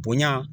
Bonya